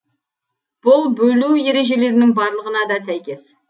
бұл бөлу ережелерінің барлығына да сәйкес